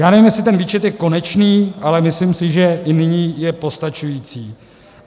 Já nevím, jestli ten výčet je konečný, ale myslím si, že i nyní je postačující.